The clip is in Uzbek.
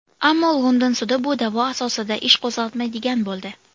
Ammo London sudi bu da’vo asosida ish qo‘zg‘atmaydigan bo‘ldi.